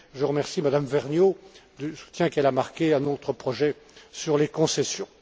Je remercie Mme Vergnaud du soutien qu'elle a marqué à notre projet sur les concessions.